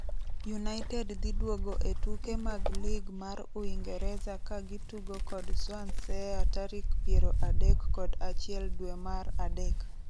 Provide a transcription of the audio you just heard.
United dhiduogo e tuke mag lig mar Uingereza ka gitugo kod Swansea tarik piero adek kod achiel dwee mar adek.